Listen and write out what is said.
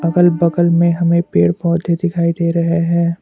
अगल बगल में हमें पेड़ पौधे दिखाई दे रहे हैं।